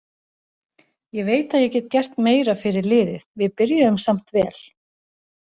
Ég veit að ég get gert meira fyrir liðið, við byrjuðum samt vel.